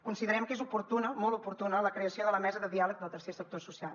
considerem que és oportuna molt oportuna la creació de la mesa de diàleg del tercer sector social